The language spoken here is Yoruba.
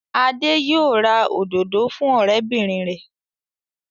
Adé yóò ra òdòdó fún ọ̀rẹ́bìnrin rẹ̀.